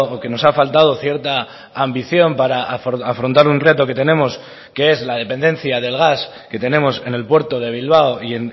que nos ha faltado cierta ambición para afrontar un reto que tenemos que es la dependencia del gas que tenemos en el puerto de bilbao y